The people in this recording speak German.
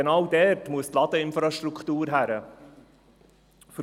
Genau dort gehört die Ladeinfrastruktur hin.